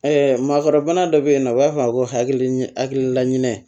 maakɔrɔbana dɔ bɛ yen nɔ u b'a fɔ a ma ko hakilila ɲinɛ